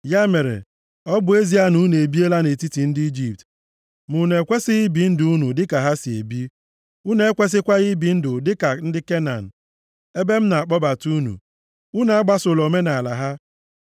Ya mere, ọ bụ ezie na unu ebiela nʼetiti ndị Ijipt, ma unu ekwesighị ibi ndụ unu dịka ha si ebi. Unu ekwesịkwaghị ibi ndụ dịka ndị Kenan ebe m na-akpọbata unu. Unu agbasola omenaala ha.